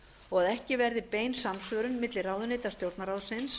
og að ekki verði bein samsvörun milli ráðuneyta stjórnarráðsins